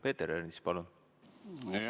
Peeter Ernits, palun!